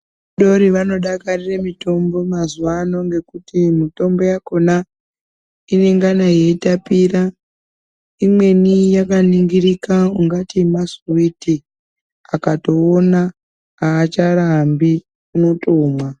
Vana vadodori vanodakarire mitombo yemazuwaano ngekuti mitombo yakhona, inengana yeitapira, imweni yakaningirika ungati masuwiti. Akatoona aacharambi unotomwa.